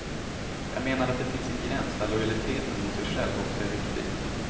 Jag menar att det finns en gräns där lojaliteten mot sig själv också är viktig.